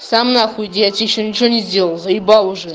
сам нахуй иди я тебе ещё ничего не сделал заебал нахуй